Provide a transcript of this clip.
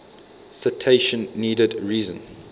citation needed reason